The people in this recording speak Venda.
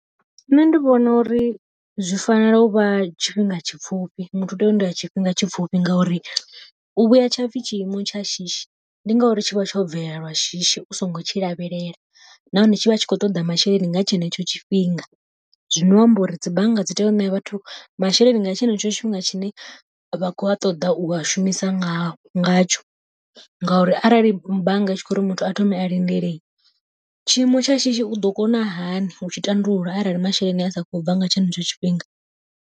Nṋe ndi vhona uri zwi fanela u vha tshifhinga tshipfufhi, muthu u tea u lindela tshifhinga tshipfhufhi ngauri u vhuya tshapfhi tshiimo tsha shishi ndi ngauri tshivha tsho bvelela lwa shishi u songo tshi lavhelela. Nahone tshi vha tshi khou toḓa masheleni nga tshenetsho tshifhinga, zwino amba uri dzi bannga dzi tea u ṋea vhathu masheleni nga tshenetsho tshifhinga tshine vha kho ṱoḓa u a shumisa ngayo ngatsho. Ngauri arali bannga i tshi kho uri muthu a thome a lindele, tshiimo tsha shishi u ḓo kona hani utshi tandulula arali masheleni a sa kho bva nga tshenetsho tshifhinga.